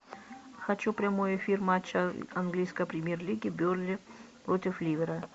хочу прямой эфир матча английской премьер лиги бернли против ливера